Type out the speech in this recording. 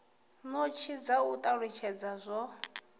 notsi dza u talutshedza zwo